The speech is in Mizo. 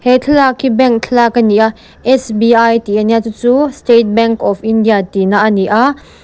he thlalak hi bank thlalak a ni a sbi tih a nia chu chu state bank of India tihna a ni a.